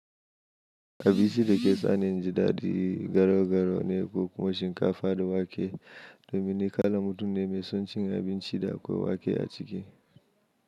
Abinci da ke sani in ji ɗaɗi garau-garau ne ko kuma shinkafa da wake. Domin ni kalar mutum ne mai son cin abinci da akwai wake a ciki.